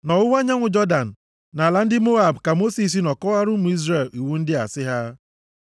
Nʼọwụwa anyanwụ Jọdan, nʼala ndị Moab ka Mosis nọ kọwaara ụmụ Izrel iwu ndị a sị ha,